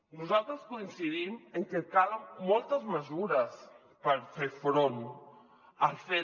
nosaltres coincidim en que calen moltes mesures per fer front al fet